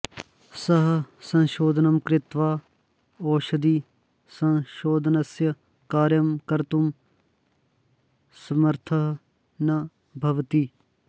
सः संशोधनं कृत्वा ओषधिसंशोधनस्य कार्यं कर्तुं समर्थः न भवति